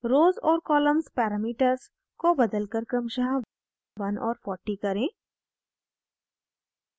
rows और columns parameters को बदलकर क्रमशः 1 और 40 करें